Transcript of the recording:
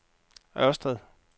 Ørsted